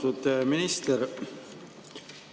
Austatud minister!